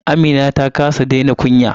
Amina ta kasa daina kunya.